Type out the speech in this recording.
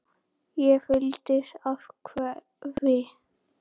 Ég fyllist af kvefi.